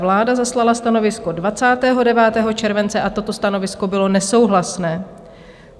Vláda zaslala stanovisko 29. července a toto stanovisko bylo nesouhlasné.